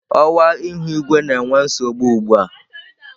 Ọwa ihu igwe na-enwe nsogbu ugbu a.